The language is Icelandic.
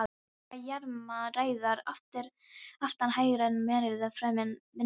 Kindurnar jarma rægðar aftan hægra mærðar framan vinstra